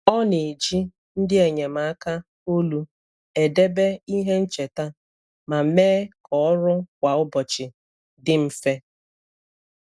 Ọ na-eji ndị enyemaka olu edebe ihe ncheta ma mee ka ọrụ kwa ụbọchị dị mfe.